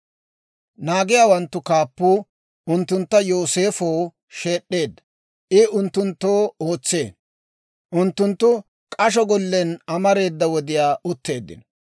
Naagiyaawanttu kaappuu unttuntta Yooseefow sheed'd'eedda; I unttunttoo ootsee. Unttunttu k'asho gollen amareeda wodiyaa utteeddino.